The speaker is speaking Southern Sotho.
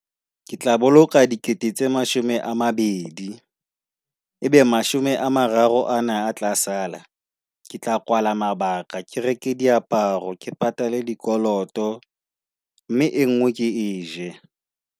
Ke tla boloka dikete tse mashome a mabedi, ebe mashome a mararo ana a tla sala ke tla koala mabaka. Ke reke diaparo, ke patale dikoloto mme e nngwe ke eje.